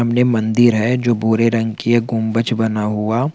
सामने मंदिर है जो भूरे रंग की है गुंबज बना हुआ--